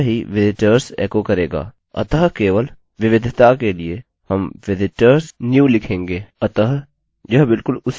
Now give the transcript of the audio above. अतः केवल विविधता के लिए हम visitors_new लिखेंगे